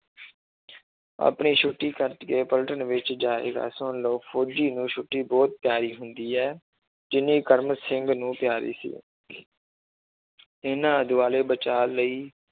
ਆਪਣੀ ਛੁੱਟੀ ਕੱਟ ਕੇ ਪਲਟਣ ਵਿੱਚ ਜਾਏਗਾ ਸੁਣ ਲਓ ਫ਼ੋਜ਼ੀ ਨੂੰ ਛੁੱਟੀ ਬਹੁਤ ਪਿਆਰੀ ਹੁੰਦੀ ਹੈ ਜਿੰਨੀ ਕਰਮ ਸਿੰਘ ਨੂੰ ਪਿਆਰੀ ਸੀ ਇਹਨਾਂ ਦੁਆਲੇ ਬਚਾਅ ਲਈ